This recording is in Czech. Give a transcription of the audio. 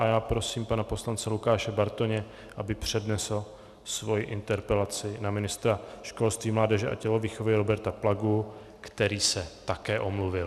A já prosím, pana poslance Lukáše Bartoně, aby přednesl svoji interpelaci na ministra školství, mládeže a tělovýchovy Roberta Plagu, který se také omluvil.